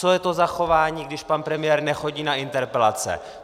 Co je to za chování, když pan premiér nechodí za interpelace?